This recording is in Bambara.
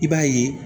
I b'a ye